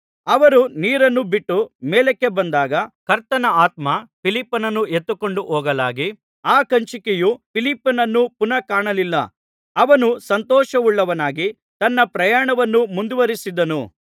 ಅವರು ನೀರನ್ನು ಬಿಟ್ಟು ಮೇಲಕ್ಕೆ ಬಂದಾಗ ಕರ್ತನ ಆತ್ಮ ಫಿಲಿಪ್ಪನನ್ನು ಎತ್ತಿಕೊಂಡು ಹೋಗಲಾಗಿ ಆ ಕಂಚುಕಿಯು ಫಿಲಿಪ್ಪನನ್ನು ಪುನಃ ಕಾಣಲಿಲ್ಲ ಅವನು ಸಂತೋಷವುಳ್ಳವನಾಗಿ ತನ್ನ ಪ್ರಯಾಣವನ್ನು ಮುಂದುವರಿಸಿದನು